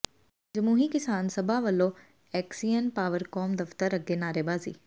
ਜਮਹੂਰੀ ਕਿਸਾਨ ਸਭਾ ਵਲੋਂ ਐਕਸੀਅਨ ਪਾਵਰਕਾਮ ਦਫ਼ਤਰ ਅੱਗੇ ਨਾਅਰੇਬਾਜ਼ੀ